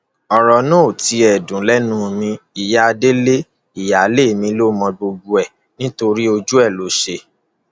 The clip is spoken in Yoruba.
ọrọ náà ò tilẹ dùn lẹnu mi ìyá délé ìyáálé mi ló mọ gbogbo ẹ nítorí ojú ẹ ló ṣe